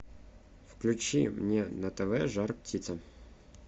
включи мне на тв жар птица